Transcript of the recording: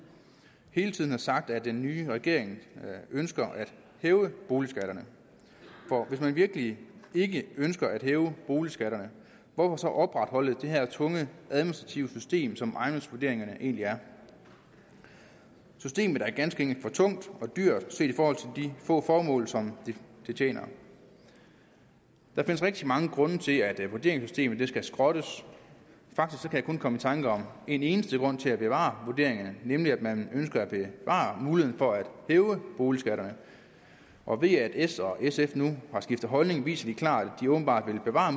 hele tiden har sagt at den nye regering ønsker at hæve boligskatterne for hvis man virkelig ikke ønsker at hæve boligskatterne hvorfor så opretholde det her tunge administrative system som ejendomsvurderingerne egentlig er systemet er ganske enkelt for tungt og dyrt set i forhold til de få formål som det tjener der findes rigtig mange grunde til at vurderingssystemet skal skrottes faktisk kan jeg kun komme i tanke om en eneste grund til at bevare vurderingerne nemlig at man ønsker at bevare muligheden for at hæve boligskatterne og ved at s og sf nu har skiftet holdning viser de klart at de åbenbart vil bevare